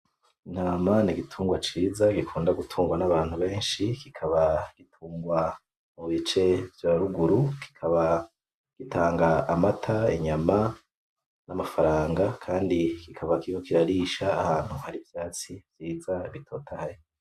Intama nigitugwa ciza gikunda gutungwa nabantu benshi, kikaba gitungwa mubice vyaruguru, kikaba gitanga amata, inyama namafaranga, kandi kikaba kiriko kirarisha ahantu hari ivyatsi vyiza bitotaye.